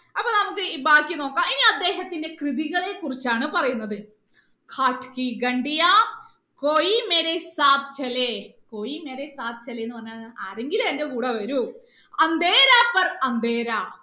അപ്പൊ നമുക്ക് ബാക്കി നോക്കാം ഇനി അദ്ദേഹത്തിന്റെ കൃതികളെ കുറിച്ചാണ് പറയുന്നത് എന്ന് പറഞ്ഞാൽ ആരെങ്കിലും എന്റെ കൂടെ വരൂ